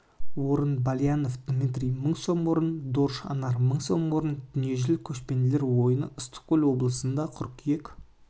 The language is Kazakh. орын балиянов дмитрий мың сом орын дорж анар мың сом дүниежүзілік көшпенділер ойыны ыстықкөл облысында қыркүйек